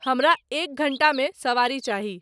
हमरा एक घंटा मे सवारी चाही